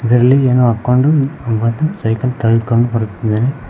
ಇದರಲ್ಲಿ ಏನೋ ಹಾಕೊಂಡು ಬಂದು ಸೈಕಲ್ ತಳ್ಕೊಂಡ್ ಬರ್ತಿದ್ದಾರೆ.